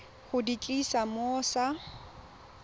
go di tlisa mo sa